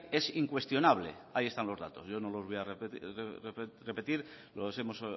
es incuestionable ahí están los datos yo no los voy a repetir lo hemos